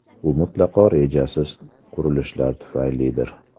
Bu mutlaqo rejasiz qurilishlar tufaylidir.